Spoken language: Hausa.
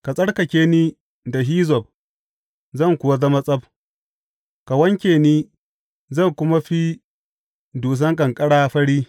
Ka tsarkake ni da hizzob, zan kuwa zama tsab; ka wanke ni, zan kuma fi dusan ƙanƙara fari.